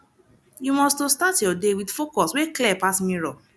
yu must to start yur day wit focus wey clear pass mirror